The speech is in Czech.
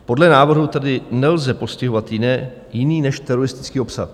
Podle návrhu tedy nelze postihovat jiný než teroristický obsah.